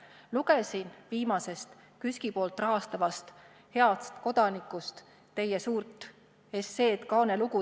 Lugesin viimasest KÜSK-i rahastatavast Heast Kodanikust teie suurt esseed, kaanelugu.